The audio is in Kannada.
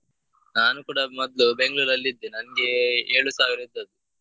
ನಾನು ಕೂಡ ಮೊದ್ಲು Bangalore ಅಲ್ಲಿ ಇದ್ದೆ ನಂಗೆ ಏಳು ಸಾವಿರ ಇದ್ದದ್ದು.